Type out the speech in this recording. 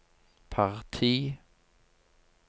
parti